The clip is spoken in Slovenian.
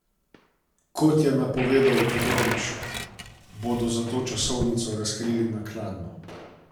Kot je napovedal Todorić, bodo zato časovnico razkrili naknadno.